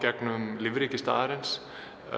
á lífríki staðarins